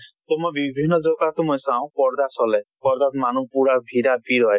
তʼ মই বিভিন্ন মই চাওঁ পৰ্দা চলে, মানুহ পুৰা ভিৰা ভিৰ হয়।